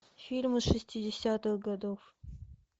фильмы шестидесятых годов